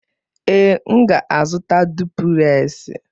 Ee, m ga-azụta duplez.